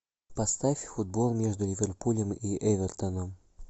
поставь футбол между ливерпулем и эвертоном